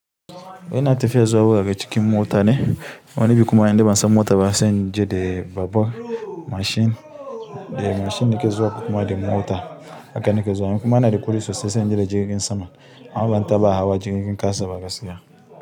Muna tafiya zuwa wurare cikin motane wani biyu kuma indai ban san mota ba sai inje da babur mashin. Da mashin nake zuwa ko kuma da mota haka nake zuwa. Kuma ina da kuɗi sosai sai inje da jirgin sama. Amma ban taɓa hawa jirgin ƙasa ba gaskiya.